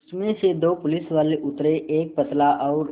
उसमें से दो पुलिसवाले उतरे एक पतला और